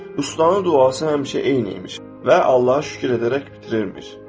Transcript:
Ustanın duası həmişə eyni imiş və Allaha şükür edərək bitirirmiş.